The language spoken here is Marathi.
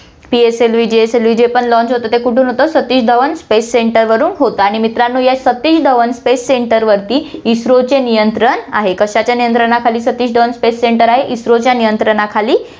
PSLVJSLV जे पण launch होतं, ते कुठून होतं, सतीश धवन space center वरुन होतं आणि मित्रांनो, या सतीश धवन space center वरती इस्रोचे नियंत्रण आहे, कशाच्या नियंत्रणाखाली सतीश धवन space center आहे, इस्रोच्या नियंत्रणाखाली